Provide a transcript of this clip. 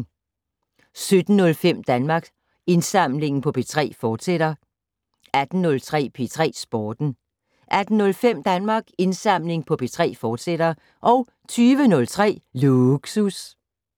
17:05: Danmarks Indsamling på P3, fortsat 18:03: P3 Sporten 18:05: Danmarks Indsamling på P3, fortsat 20:03: Lågsus